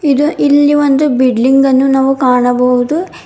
ಇದು ಇಲ್ಲಿ ಒಂದು ಬಿಟ್ಲಿಂಗ್ ಅನ್ನು ನಾವು ಕಾಣಬಹುದು.